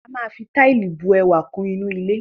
A máa fi Táìlì bu ẹwà kún ilé